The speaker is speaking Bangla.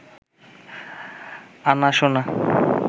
আনা সোনা